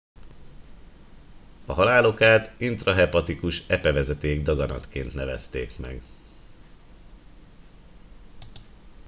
a halál okát intrahepatikus epevezeték daganatként nevezték meg